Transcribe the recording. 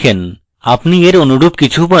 আপনি এর অনুরূপ কিছু পান